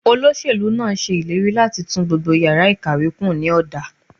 Olóṣèlú náà ṣe ìlérí láti tún gbogbo yàrá ìkàwé kùn ní ọ̀dà.